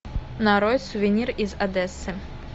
нарой сувенир из одессы